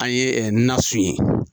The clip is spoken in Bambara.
An ye na su ye.